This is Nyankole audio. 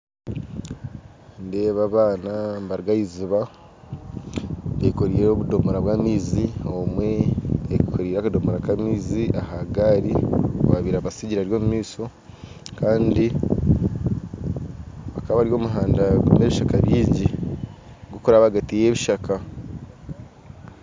Nindeeba abaana nibaruga ah'eiziba beekoreire obudoomora bw'amaiza ondiijo ayekoreire akadomoro aha gaari owabaire abasigire ari omu maisho kandi bakaba bari omu muhanda gurimu ebishaka bingi gurikuraba ahagati yebishaka